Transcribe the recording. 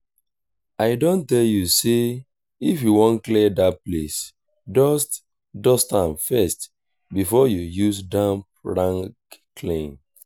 i don tell you say if you wan clean dat place dust dust am first before you use damp rag clean